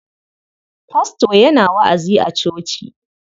Fasto yana wa'azi a coci.